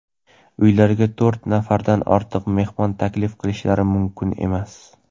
uylariga to‘rt nafardan ortiq mehmon taklif qilishlari mumkin emas.